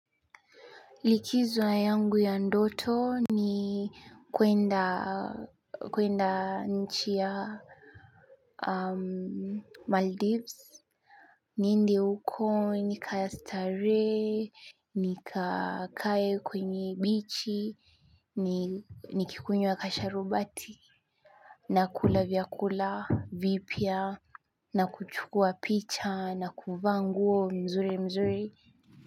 Likizo yangu ya ndoto ni kuenda nchi ya Maldives. Niende huko nikastarehe. Nikakae kwenye bichi, nikikunywa kasharubati nakula vyakula vipya na kuchukua picha na kuvaa nguo mzuri mzuri.